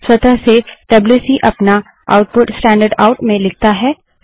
स्वतः से डब्ल्यूसी अपना आउटपुट स्टैंडर्ड आउट में लिखता है